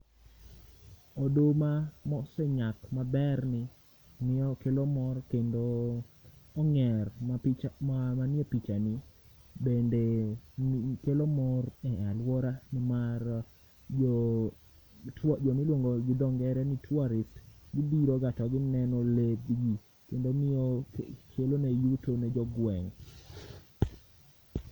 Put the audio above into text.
Oduma mosenyak maberni ng'ieo kelo mor kendo ong'er ma picha, ma manie pichani bende kelo mor e alwora mar jo tua, jomiluongo gi dho ngere ni tourist. Gibiroga to gineno le dibich, kendi miyo kelone yuto ne jogweng'.